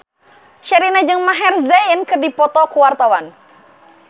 Sherina jeung Maher Zein keur dipoto ku wartawan